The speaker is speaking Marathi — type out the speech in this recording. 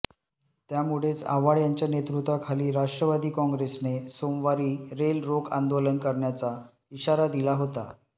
त्यामुळेच आव्हाड यांच्या नेतृत्वाखाली राष्ट्रवादी काँग्रेसने सोमवारी रेल रोक आंदोलन करण्याचा इशारा दिला होता